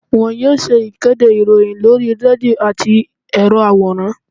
won yóò ṣe ìkédè iroyin lorí redio atí erò aworán.